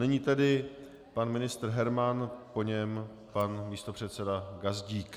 Nyní tedy pan ministr Herman, po něm pan místopředseda Gazdík.